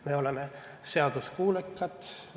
Me oleme seaduskuulekad.